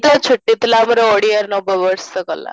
ତ ଛୁଟି ଥିଲା ଆମର ଓଡ଼ିଆ ନବ ବର୍ଷ ଗଲା